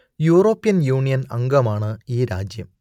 European Union അംഗമാണ് ഈ രാജ്യം